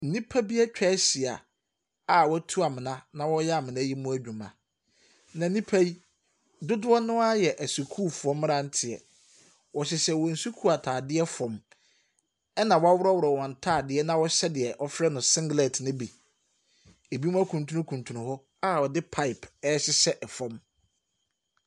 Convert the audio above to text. Nnipa bi atwa ahyia a wɔatu amona na wɔreyɛ amona yi mu adwuma. Na nnipa yi, dodoɔ no ara yɛ asukuufoɔ mmeranteɛ, wɔhyehyɛ wɔn sukuu ntaadeɛ fam, ɛna wɔaworɔworɔ wɔn ntaaadeɛ na wɔhyɛ deɛ wɔfrɛ no singlet ne bi. Ɛbinom akuntunukuntunu hɔ a wɔde pipe ɛrehyɛ fam.